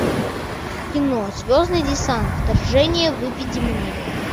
кино звездный десант вторжение выведи мне